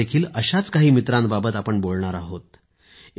आज देखील अशाच काही अन्य मित्रांबाबत आपण बोलणार आहोत